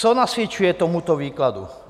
Co nasvědčuje tomuto výkladu?